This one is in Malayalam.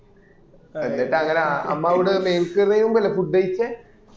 എന്നിട്ട് അങ്ങന 'അമ്മ അവിട ഒരു മെഴ്‌സീര്യമ്പോൾ അല്ലെ food കഴിച്ചേ